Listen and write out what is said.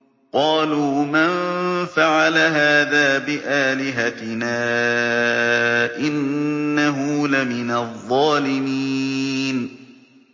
قَالُوا مَن فَعَلَ هَٰذَا بِآلِهَتِنَا إِنَّهُ لَمِنَ الظَّالِمِينَ